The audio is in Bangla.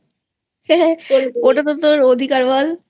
ওটা তোর অধিকার বল